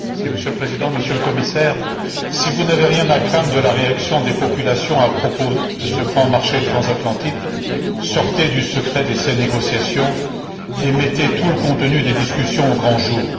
Monsieur le Président, Monsieur le Commissaire, si vous n'avez rien à craindre de la réaction des populations à propos de ce grand marché transatlantique, sortez du secret de ces négociations et mettez tout le contenu des discussions au grand jour.